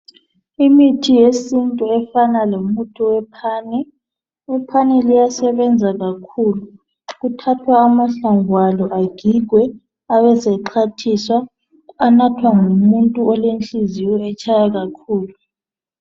Imithi yesintu efana lomuthi wephane iphani liyasebenza kakhulu kuthatwha amahlamvu alo agigwe abe sexhwathiswa anathwa ngumuntu olenhliziyo etshaya kakhulu.